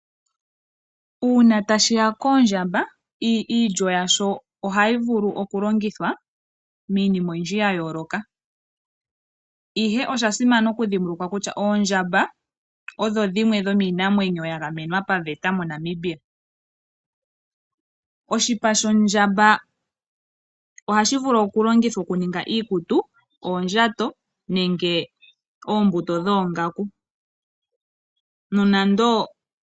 Uuna ta shiya koOndjamba ,iilyo yasho ohayi vulu oku longithwa minima oyindji ya yoloka, ihe osha simana oku dhimbulukwa kusha oondjamba odho dhimwe dhominamwenyo ya gamenwa paveta mo Namibia. Oshipa shOndjamba ohashi vulu oku longithwa oku ninga iikutu ,ondjato nenge ombuto dhongaku.